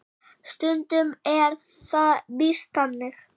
Stundum er það víst þannig.